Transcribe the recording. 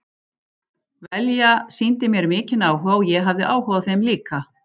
Velja sýndi mér mikinn áhuga og ég hafði áhuga á þeim líka.